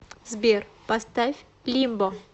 сбер поставь лимбо